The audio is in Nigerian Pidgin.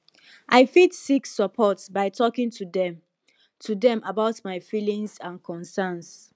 i fit seek support by talking to dem to dem about my feelings and concerns